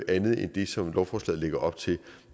andet end det som lovforslaget lægger op til